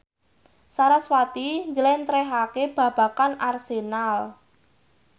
sarasvati njlentrehake babagan Arsenal